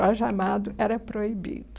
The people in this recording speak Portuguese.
Jorge Amado era proibido.